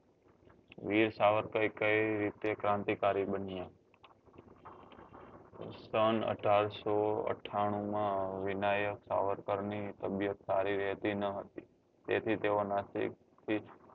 વીર સાવરકર કઈ રીતે ક્રાંતિ કરી બન્યા સન અઢારસો અઠાનું માં વિનાયક સાવરકર ની તબિયત સારી રહેતી નાં હતી તેથી તેઓ નાસિક થી